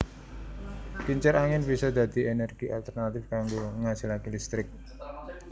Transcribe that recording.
Kincir angin bisa dadi ènèrgi alternatif kanggo ngasilaké listrik